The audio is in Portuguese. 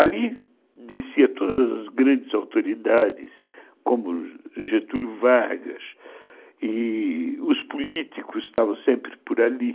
Ali descia todas as grandes autoridades, como Getúlio Vargas, e os políticos estavam sempre por ali.